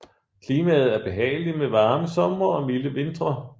Klimaet er behageligt med varme somre og milde vintre